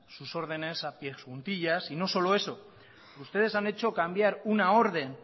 sus órdenes a pies juntillas y no solo eso ustedes han hecho cambiar una orden